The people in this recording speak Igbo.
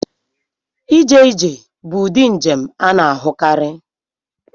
Ije ije bụ ụdị njem a na-ahụkarị.